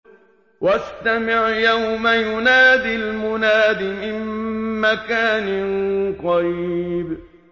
وَاسْتَمِعْ يَوْمَ يُنَادِ الْمُنَادِ مِن مَّكَانٍ قَرِيبٍ